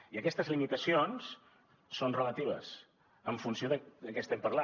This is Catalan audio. i aquestes limitacions són relatives en funció de què estem parlant